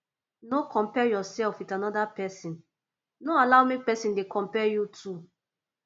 no compare yourself with another persin no allow make persin de compare you too